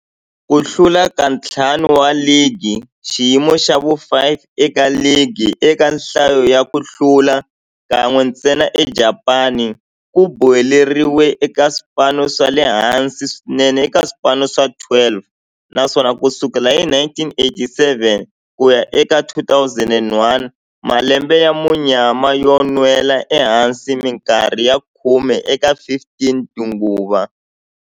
Ku hlula ka ntlhanu wa ligi, xiyimo xa vu-5 eka ligi eka nhlayo ya ku hlula, kan'we ntsena eJapani, ku boheleriwile eka swipano swa le hansi swinene eka swipano swa 12, naswona ku sukela hi 1987 ku ya eka 2001, malembe ya munyama yo nwela ehansi minkarhi ya khume eka 15 tinguva.